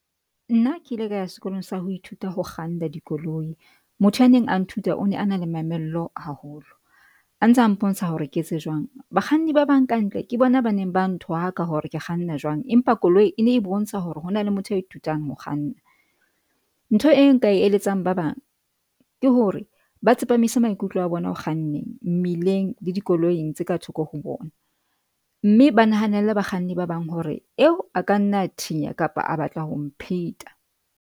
Nna ke ile ka ya sekolong sa ho ithuta ho kganna dikoloi. Motho ya neng a nthuta o ne a na le mamello haholo a ntse a mpontsha hore ke etse jwang bakganni ba bang ka ntle. Ke bona ba neng ba nthwaka hore ke kganna jwang. Empa koloi e ne e bontsha hore hona le motho a ithutang ho kganna. Ntho e nka e eletsang ba bang ke hore ba tsepamise maikutlo a bona ho kganneng mmileng le dikoloing tse ka thoko ho bona, mme ba nahanela bakganni ba bang hore eo a ka nna thinya kapa a batla ho mpheta.